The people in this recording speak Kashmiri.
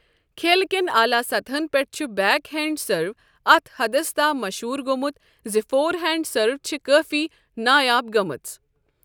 کھیل کٮ۪ن اعلیٰ سطحن پٮ۪ٹھ چھُ بیک ہینڈ سرو اتھ حدس تام مشہوٗر گوٚومُت زِ فور ہینڈ سروٕ چھِ کٲفی نایاب گٔمٕژ۔